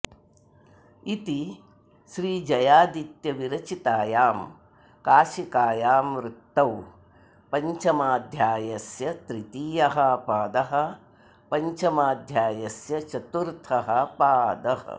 इति श्रीजयादित्यविरचितायां काशिकायां वृत्तौ पञ्चमाध्यायस्य तृतीयः पादःपञ्चमाध्यायस्य चतुर्थः पादः